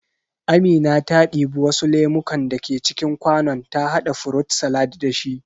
Amina ta ɗibi wasu lemukan da ke cikin kwanon ta haɗa furut salad da shi